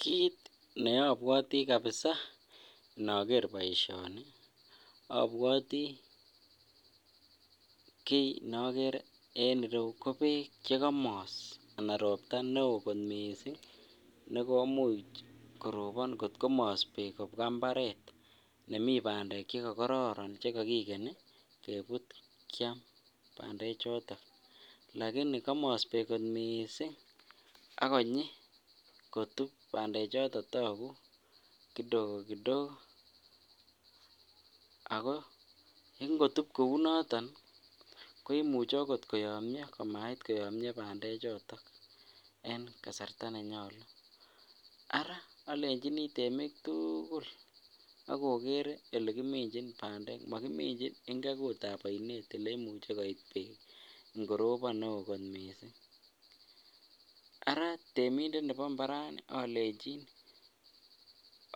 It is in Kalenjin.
Kiit nekobwoti kabisaa inoker boishoni abwoti kii nekore en ireyu ko beek chekomos anan robta neoo mising nekomuch korobon kot komos beek kobwa mbaret nemii bandek cheko kororon chekokikeni kebut Kiam bande choton lakini komos beek kot mising akonyi bande choton tokuu kidogo kidogo ak ko ngotub kounoton koimuche okot koyomnyo komait koyomnyo bandechoton en kasarta nenyolu, araa olenjini temiik tukul ak okere elekiminjin bandek mokiminchin ingekutab oinet oleimuche koit beek ng'orobon neoo kot mising, araa temindet nebo mbarani olenchin